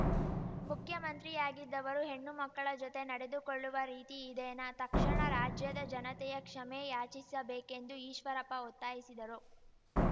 ಮುಖ್ಯಮಂತ್ರಿಯಾಗಿದ್ದವರು ಹೆಣ್ಣುಮಕ್ಕಳ ಜತೆ ನಡೆದುಕೊಳ್ಳುವ ರೀತಿ ಇದೇನಾ ತಕ್ಷಣ ರಾಜ್ಯದ ಜನತೆಯ ಕ್ಷಮೆ ಯಾಚಿಸಬೇಕೆಂದು ಈಶ್ವರಪ್ಪ ಒತ್ತಾಯಿಸಿದರು